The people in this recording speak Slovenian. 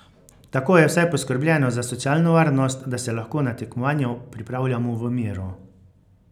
Tako je vsaj poskrbljeno za socialno varnost, da se lahko na tekmovanja pripravljamo v miru.